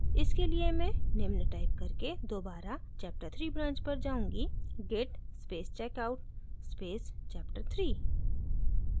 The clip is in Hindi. इसके लिए मैं निम्न टाइप करके दोबारा chapterthree branch पर जाऊँगी git space checkout space chapterthree